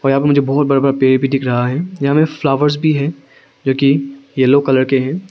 यहां पे मुझे बहुत बड़ा बड़ा पेड़ भी दिख रहा है यहां में फ्लावर्स भी है जो कि येलो कलर के है।